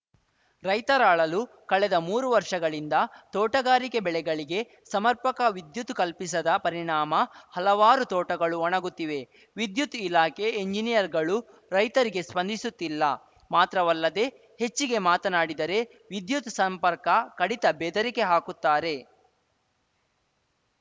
ರೈತರ ಅಳಲು ಕಳೆದ ಮೂರು ವರ್ಷಗಳಿಂದ ತೋಟಗಾರಿಕೆ ಬೆಳೆಗಳಿಗೆ ಸಮರ್ಪಕ ವಿದ್ಯುತ್‌ ಕಲ್ಪಿಸದ ಪರಿಣಾಮ ಹಲವಾರು ತೋಟಗಳು ಒಣಗುತ್ತಿವೆ ವಿದ್ಯುತ್‌ ಇಲಾಖೆ ಎಂಜನಿಯರ್‌ಗಳು ರೈತರಿಗೆ ಸ್ವಂದಿಸುತ್ತಿಲ್ಲ ಮಾತ್ರವಲ್ಲದೆ ಹೆಚ್ಚಿಗೆ ಮಾತನಾಡಿದರೆ ವಿದ್ಯುತ್‌ ಸಂಪರ್ಕ ಕಡಿತ ಬೆದರಿಕೆ ಹಾಕುತ್ತಾರೆ